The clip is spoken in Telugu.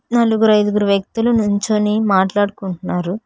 నలుగురు ఐదుగురు వ్యక్తులు నుంచొని మాట్లాడుకుంటున్నారు.